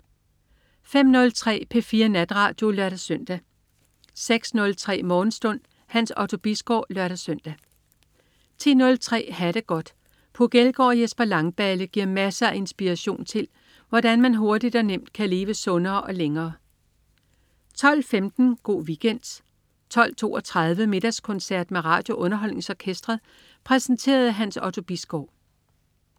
05.03 P4 Natradio (lør-søn) 06.03 Morgenstund. Hans Otto Bisgaard (lør-søn) 10.03 Ha' det godt. Puk Elgård og Jesper Langballe giver masser af inspiration til, hvordan man hurtigt og nemt kan leve sundere og længere 12.15 Go' Weekend 12.32 Middagskoncert med RadioUnderholdningsOrkestret. Præsenteret af Hans Otto Bisgaard